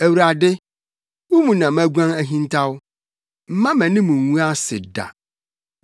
Awurade, wo mu na maguan ahintaw; mma mʼanim ngu ase da.